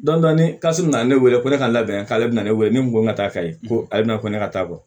Dɔn ni kasi nana ne wele ko ne ka labɛn k'ale bɛna ne wele ne ko n ka taa kayi ko ale bɛna ko ne ka taa bɔ